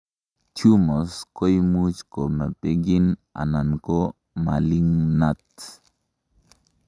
tumors koimuch ko benign anan ko malignant